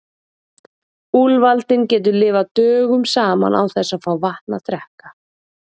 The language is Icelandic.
Úlfaldinn getur lifað dögum saman án þess að fá vatn að drekka.